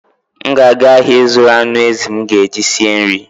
M ga-aga ahịa ịzụrụ anụ ezi m ga-eji sie nri.